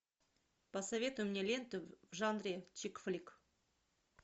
посоветуй мне ленту в жанре чик флик